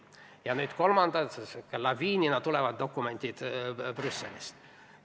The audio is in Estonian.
Ja nüüd tulevad kolmanda laviinina dokumendid Brüsselist.